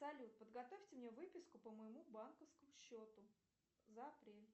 салют подготовьте мне выписку по моему банковскому счету за апрель